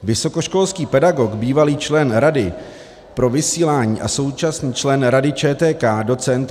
Vysokoškolský pedagog, bývalý člen rady pro vysílání a současný člen Rady ČTK doc.